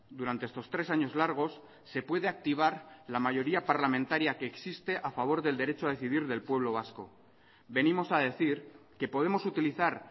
durante estos tres años largos se puede activar la mayoría parlamentaria que existe a favor del derecho a decidir del pueblo vasco venimos a decir que podemos utilizar